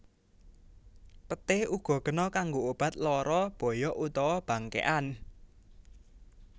Peté uga kena kanggo obat lara boyok utawa bangkékan